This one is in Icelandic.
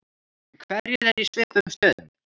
Hverjir eru í svipuðum stöðum?